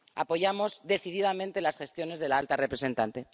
Apoyamos decididamente las gestiones de la alta representante.